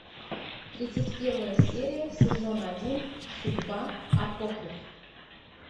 тридцать первая серия сезона один судьба апокриф